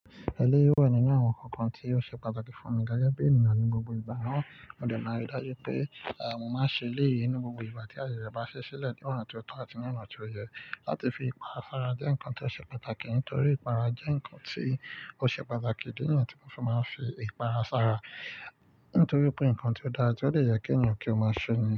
Ẹ̀lẹ́yi wà nínú àwọn nǹkan tí ó ṣe pàtàkì fún mi gẹ́gẹ́ bí ènìyàn ní gbogbo ìgbà. Rán, òde náà rí dájú pé, à, mo máa ń ṣe léèyì nú gbogbo ìgbà tí ayẹyẹ bá ṣí sílẹ̀ ní ọ̀nà tí ó tọ́ àti ní ọ̀nà tí ó yẹ láti fi ipa sara jẹ́ ǹkan tí ó ṣe pàtàkì nítorí ìpara jẹ́ ǹkan tí ó ṣe pàtàkì. Níyẹn ni tí mo fi máa ń fi ìpara sára nítorí pé ǹkan tí ó dára tí ó dè yẹ kí ènìyàn kí ó máa ṣe ni.